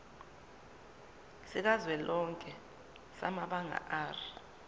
sikazwelonke samabanga r